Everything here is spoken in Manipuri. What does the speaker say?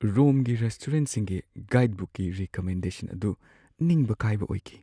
ꯔꯣꯝꯒꯤ ꯔꯦꯁꯇꯨꯔꯦꯟꯠꯁꯤꯡꯒꯤ ꯒꯥꯏꯗꯕꯨꯛꯀꯤ ꯔꯤꯀꯃꯦꯟꯗꯦꯁꯟ ꯑꯗꯨ ꯅꯤꯡꯕ ꯀꯥꯏꯕ ꯑꯣꯏꯈꯤ꯫